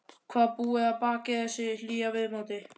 Hvað búi að baki þessu hlýja viðmóti.